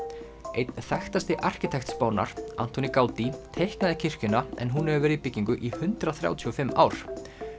einn þekktasti arkítekt Spánar Antoni Gaudí teiknaði kirkjuna en hún hefur nú verið í byggingu í hundrað þrjátíu og fimm ár